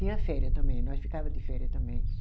Tinha féria também, nós ficava de féria também.